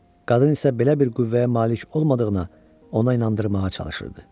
Qadın isə belə bir qüvvəyə malik olmadığını ona inandırmağa çalışırdı.